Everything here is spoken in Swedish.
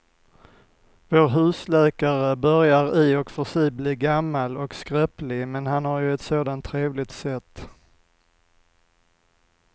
Vår husläkare börjar i och för sig bli gammal och skröplig, men han har ju ett sådant trevligt sätt!